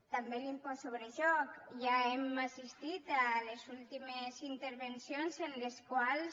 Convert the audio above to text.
també l’impost sobre joc ja hem assistit a les últimes intervencions en les quals